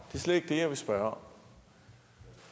er slet ikke det jeg vil spørge om